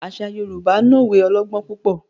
Àṣà Yorùbá no òwe ọlọgbọn púpọ.